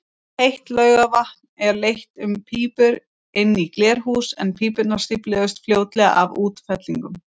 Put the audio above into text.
Heitt laugavatn var leitt um pípur inn í glerhús, en pípurnar stífluðust fljótlega af útfellingum.